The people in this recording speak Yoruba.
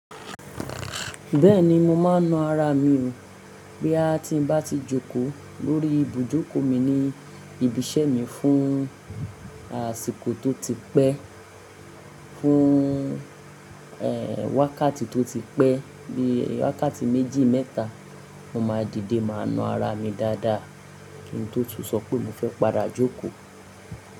Bẹ́ẹ̀ni mo máa ń na ara mi o. Bí a ti ń bá ti jókòó lórí ibùjókòó mi ní ibi iṣẹ́ mi fún àsìkò tó ti pẹ́, fún, wákàtí tó ti pẹ́ bí i wákàtí méjì mẹ́ta, mo máa dìde máa na ara mi dáadáa kí n tó tún sọ pé mo fẹ́ padà jókòó.